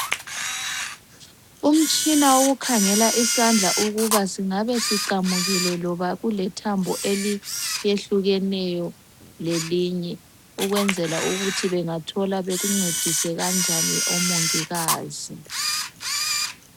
Umtshina wokukhangela isandla ukuba singabe siqamukile loba kulethambo eliyehlukeneyo lelinye ukwenzela ukuthi bengathola bekuncedise kanjani omongikazi.